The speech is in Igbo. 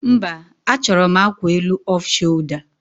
Mba, achọrọ m akwa elu off sholda